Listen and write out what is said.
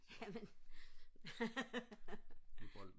jamen